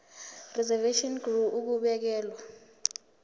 reservation ngur ukubekelwa